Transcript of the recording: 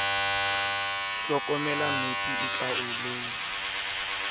le phelaka ho kolla ntsi